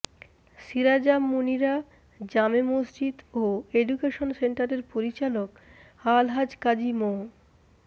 সিরাজাম মুনিরা জামে মসজিদ ও অ্যাডুকেশন সেন্টারের পরিচালক আলহাজ কাজী মো